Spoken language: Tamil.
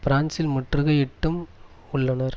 பிரான்சில் முற்றுகையிட்டும் உள்ளனர்